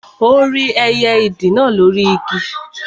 Ó rí ẹyẹ ìdì náà lóri Igi